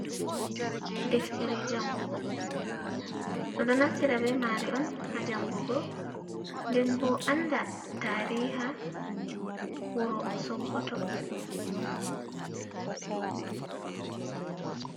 Ɗeftere jangugo. Bedo naftira be mareon ha jangugo. Ɗen bo anda tariha wuro sokkoto.